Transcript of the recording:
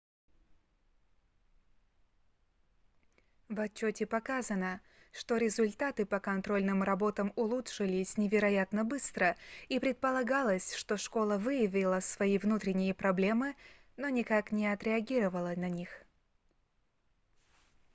в отчёте показано что результаты по контрольным работам улучшились невероятно быстро и предполагалось что школа выявила свои внутренние проблемы но никак не отреагировала на них